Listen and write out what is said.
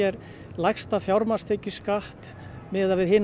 lægsta fjármagnstekjuskatt miðað við hin